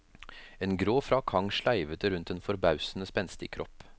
En grå frakk hang sleivete rundt en forbausende spenstig kropp.